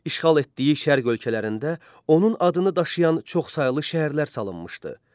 İşğal etdiyi şərq ölkələrində onun adını daşıyan çoxsaylı şəhərlər salınmışdı.